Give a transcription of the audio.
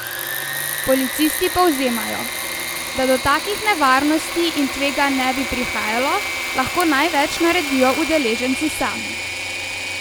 Policisti povzemajo: 'Da do takih nevarnosti in tveganj ne bi prihajalo, lahko največ naredijo udeleženci sami.